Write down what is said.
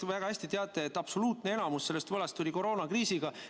Te ju väga hästi teate, et absoluutne enamus sellest võlast tuli koroonakriisiga.